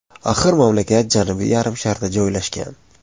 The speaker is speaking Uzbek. Axir mamlakat Janubiy yarim sharda joylashgan.